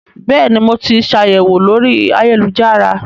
Bẹ́ẹ̀ ni, mo ti ṣàyẹ̀wò lórí ayélujára